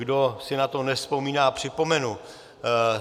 Kdo si na to nevzpomíná, připomenu.